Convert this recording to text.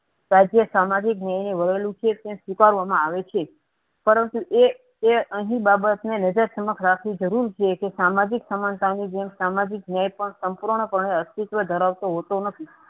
રાજ્ય સામાજિક ન્યાયને વણેલી છે. તેમ સ્વીકારવામાં આવે છે. પરંતુ એ એ અહીં બાબતને નજર સમક્ષ રાખવી જરૂરી છે. કે સામાજિક સમાજીક સમાનતાની જેમ સામાજિક ન્યાય પણ સંપૂર્ણ પણે અસ્તિત્વ ધરાવતો હોતો નથી.